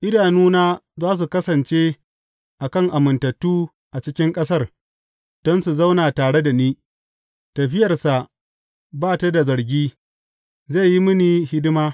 Idanuna za su kasance a kan amintattu a cikin ƙasar, don su zauna tare da ni; tafiyarsa ba ta da zargi zai yi mini hidima.